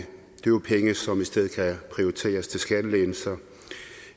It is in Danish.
jo penge som i stedet kan prioriteres til skattelettelser